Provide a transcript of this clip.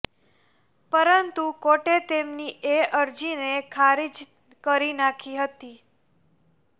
પરંતુ કોર્ટે તેમની એ અરજીને ખારીજ કરી નાંખી હતી